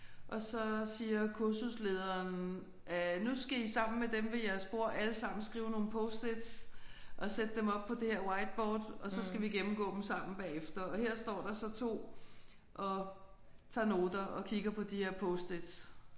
Og så siger kursuslederen at nu skal I sammen med dem ved jeres bord alle sammen skrive nogle post-its og sætte dem op på det her whiteboard og så skal vi gennemgå dem sammen bagefter og her står der så 2 og tager noter og kigger på de her post-its